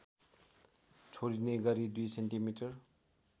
छोडिने गरी २ सेन्टिमिटर